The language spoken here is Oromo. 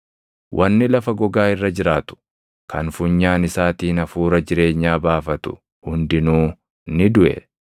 Wanni lafa gogaa irra jiraatu kan funyaan isaatiin hafuura jireenyaa baafatu hundinuu ni duʼe.